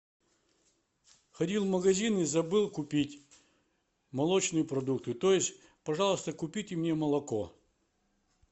ходил в магазин и забыл купить молочные продукты то есть пожалуйста купите мне молоко